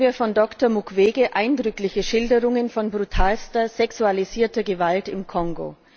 Gestern hörten wir von Dr. Mukwege eindrückliche Schilderungen von brutalster sexualisierter Gewalt im Kongo.